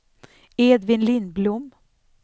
Edvin Lindblom